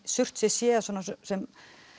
Surtsey sé sem